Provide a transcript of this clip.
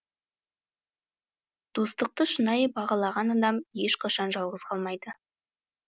достықты шынайы бағалаған адам ешқашан жалғыз қалмайды